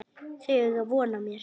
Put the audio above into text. Þau eiga von á mér.